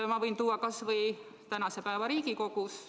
Ma võin näiteks tuua kas või tänase päeva Riigikogus.